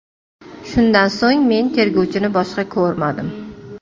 Shundan so‘ng men tergovchini boshqa ko‘rmadim”.